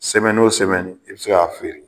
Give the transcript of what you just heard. wo i bi se ka feere.